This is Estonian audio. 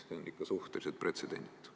See on ikka suhteliselt pretsedenditu.